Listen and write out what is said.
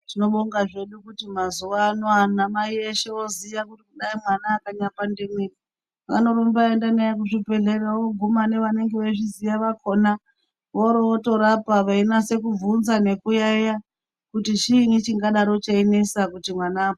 Tinobonga hedu mazuwa ano anamai voziya kuti dai mwana akanyapandiwei vanorumba veienda naye kuzvibhedhlera voguma nevanenge veizviziya vakhona vorootorapa veinase kubvunza nekuyayeya kuti chiinyi chingadaro cheinesa kuti mwana ......